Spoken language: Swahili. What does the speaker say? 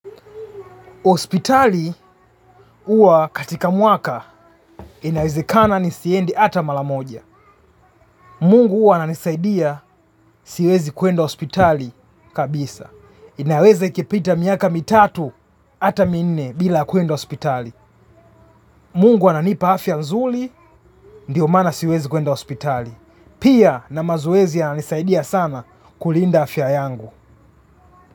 Hospitali huwa katika mwaka inawezekana nisiende ata mara moja. Mungu huwa ananisaidia siwezi kwenda hospitali kabisa. Inaweza ikapita miaka mitatu ata minne bila kwenda hospitali. Mungu ananipa afya nzuri, ndiyo maana siwezi kwenda hospitali. Pia na mazoezi yananisaidia sana kulinda afya yangu.